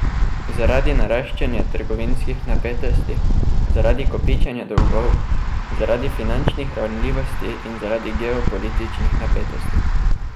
Zaradi naraščanja trgovinskih napetosti, zaradi kopičenja dolgov, zaradi finančnih ranljivosti in zaradi geopolitičnih napetosti.